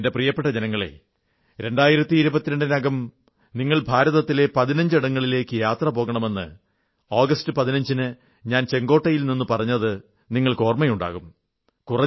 എന്റെ പ്രിയപ്പെട്ട ജനങ്ങളേ 2022 നകം നിങ്ങൾ ഭാരതത്തിലെ 15 ഇടങ്ങളിലേക്കു യാത്രപോകണമെന്ന് ആഗസ്റ്റ് 15 ന് ഞാൻ ചുവപ്പ് കോട്ടയിൽ നിന്ന് പറഞ്ഞത് നിങ്ങൾക്ക് ഓർമ്മയുണ്ടാകും